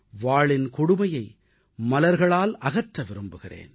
வாளின் கொடுமையை மலர்களால் அகற்ற விரும்புகிறேன்